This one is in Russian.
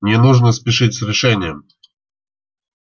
не нужно спешить с решением